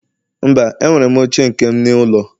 Mba, enwere m oche nke m n'ụlọ